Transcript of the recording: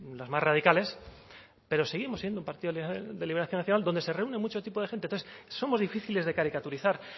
las más radicales pero seguimos siendo un partido de liberación nacional donde se reúne mucho tipo de gente entonces somos difíciles de caricaturizar